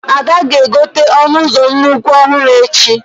Ada ga-egote ọnụ ụzọ nnukwu ọhụrụ echi